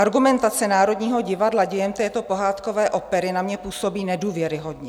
Argumentace Národního divadla dějem této pohádkové opery na mě působí nedůvěryhodně.